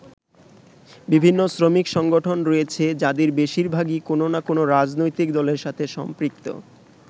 বিভিন্ন শ্রমিক সংগঠন রয়েছে যাদের বেশিরভাগই কোন না কোন রাজনৈতিক দলের সাথে সম্পৃক্ত।